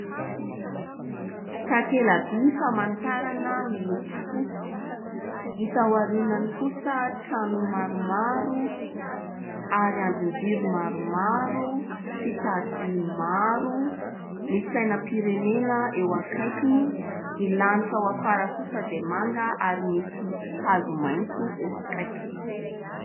Takela-by famantarana miloko fotsy hita aorianany kosa trano maromaro ary andrinjiro maromaro sy taroby maro, misy sainam-pirenena eo akaikiny, ny lanitra ao afara kosa dia manga ary misy hazo maitso eo akaikiny.